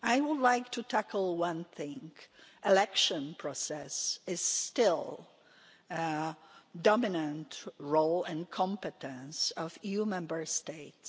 I would like to tackle one thing the electoral process is still a dominant role and competence of EU Member States.